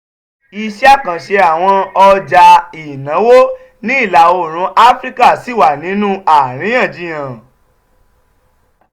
iṣẹ́ àkànṣe àwọn ọjà ìnáwó ní ìlà oòrùn áfíríkà ṣì wà nínú àríyànjiyàn